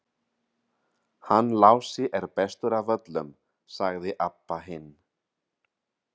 Hann Lási er bestur af öllum, sagði Abba hin.